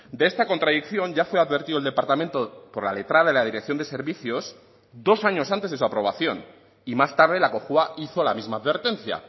de esta contradicción ya fue advertido el departamento por la letrada de la dirección de servicios dos años antes de su aprobación y más tarde la cojua hizo la misma advertencia